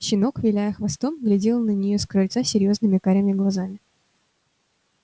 щенок виляя хвостом глядел на неё с крыльца серьёзными карими глазами